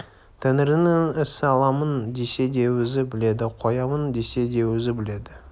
тәңірінің ісі аламын десе де өзі біледі қоямын десе де өзі біледі